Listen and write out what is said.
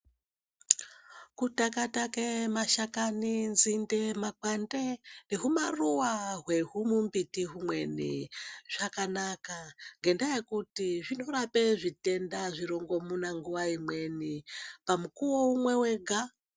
Kutake take mashakani nzinde makwande ehumaruwa hwehu mumbiti hwumweni zvakanaka ngendaya yekuti zvinorapa zvitenda zvirongomuna nguwa imweni pamukuwo umwe wega